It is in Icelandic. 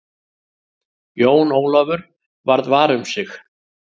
Jón Ólafur varð var um sig.